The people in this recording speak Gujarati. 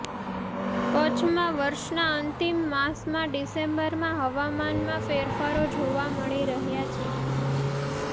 કચ્છમાં વર્ષના અંતિમ માસ ડિસેમ્બરમાં હવામાનમાં ફેરફારો જોવા મળી રહ્યા છે